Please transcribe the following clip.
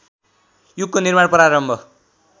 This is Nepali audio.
युगको निर्माण प्रारम्भ